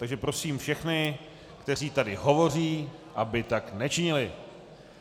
Takže prosím všechny, kteří tady hovoří, aby tak nečinili.